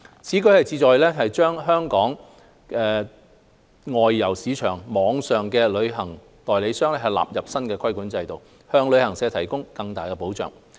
此舉旨在把本港外遊市場網上旅行代理商納入新規管制度，向旅客提供更大的保障。